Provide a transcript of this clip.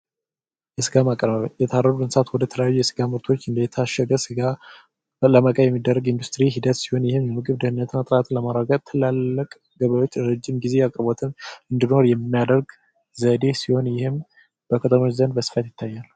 የስጋ ማቀነባበሪያ የታረዱ እንስሳት ወደ ተለያዩ ምርቶች እንደታሸገ ሥጋ ለመቀየር የሚደረግ ኢንዱስትሪ ሂደት ሲሆን፤ ይህም የምግብ ደህንነት እና ጥራትን ለማረጋገጥ ትላልቅ ገበያዎች ለረጅም ጊዜ አቅርቦትን እንዲሆን የሚያደርግ ዘዴ ሲሆን ይህም በከተሞች ዘንድ በስፋት ይታያል።